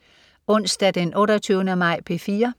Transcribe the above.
Onsdag den 28. maj - P4: